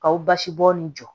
K'aw basibɔn nin jɔ